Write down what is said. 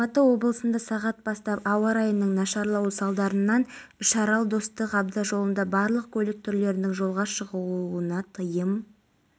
фестиваль күндері бәйтерек монументі алдындағы сахнаға африка македония грузия венгрия ресей қазақстан башқұртстан бурятия тува және өзге де елдердің музыкалық ұжымдары